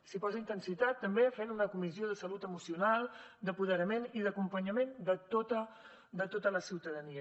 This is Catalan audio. s’hi posa intensitat també fent una comissió de salut emocional d’apoderament i d’acompanyament de tota la ciutadania